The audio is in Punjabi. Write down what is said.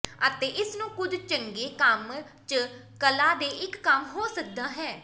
ਅਤੇ ਇਸ ਨੂੰ ਕੁਝ ਚੰਗੇ ਕੰਮ ਜ ਕਲਾ ਦੇ ਇੱਕ ਕੰਮ ਹੋ ਸਕਦਾ ਹੈ